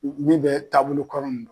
min bɛ taabolo kɔrɔ in na.